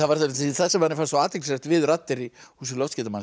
það sem manni fannst svo athyglisvert við raddir í húsi